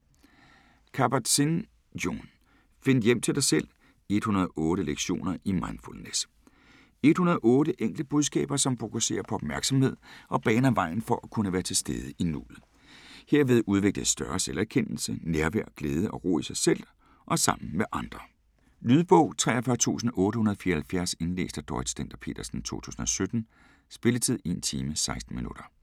Kabat-Zinn, Jon: Find hjem til dig selv: 108 lektioner i mindfulness 108 enkle budskaber, som fokuserer på opmærksomhed og baner vejen for at kunne være til stede i nuet. Herved udvikles større selverkendelse, nærvær, glæde og ro i sig selv og sammen med andre. Lydbog 43874 Indlæst af Dorrit Stender-Petersen, 2017. Spilletid: 1 time, 16 minutter.